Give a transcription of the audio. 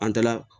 An taala